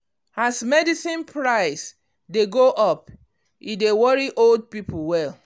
as medicine price dey go up e dey worry old people well.